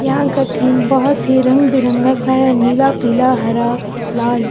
यहां का थीम बहुत ही रंग बिरंगा सा है नीला पीला हरा लाल।